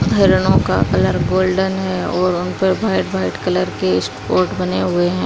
हरनो का colour golden है और उन पर भाईट भाईट कलर के स्पॉट बने हुए हैं।